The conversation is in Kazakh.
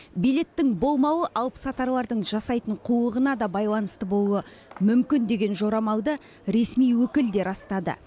билеттің болмауы алыпсатарлардың жасайтын қулығына да байланысты болуы мүмкін деген жорамалды ресми өкіл де растады